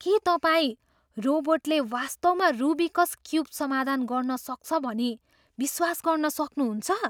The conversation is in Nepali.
के तपाईँ रोबोटले वास्तवमा रुबिकस् क्युब समाधान गर्न सक्छ भनी विश्वास गर्न सक्नुहुन्छ?